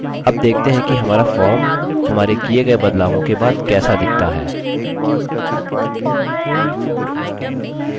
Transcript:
अब देखते हैं हमारा form हमारे किये गये बदलावों के बाद कैसा दिखता है